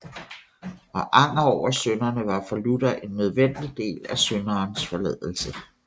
Og anger over synderne var for Luther en nødvendig del af syndernes forladelse